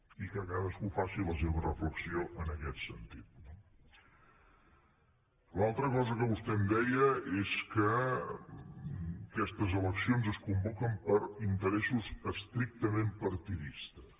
i que cadascú faci la seva reflexió en aquest sentit no l’altra cosa que vostè em deia és que aquestes eleccions es convoquen per interessos estrictament partidistes